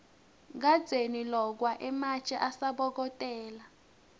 kadzeni lokwa ematje asabokotela